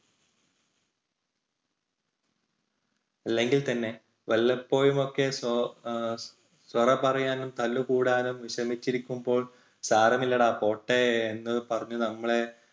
അല്ലെങ്കിൽ തന്നെ വല്ലപ്പോഴും ഒക്കെ എഹ് സൊറ പറയാനും തല്ലു കൂടാനും വിഷമിച്ചിരിക്കുമ്പോൾ സാരമില്ലടാ പോട്ടെ എന്ന് പറഞ്ഞ് നമ്മളെ